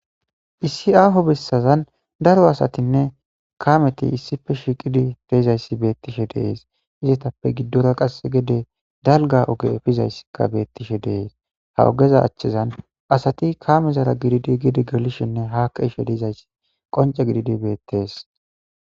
Issi aaho bessazan daro asatinne kaameti issife shiiqidi deizayssi beettishe deees izetappe giddora qass gede dalga oge efizayssikka beettishe deees ha ogeza achchezan asati kaame zara gididi gidi gelishinne haake ishe diizayssi qonce gididi beettees.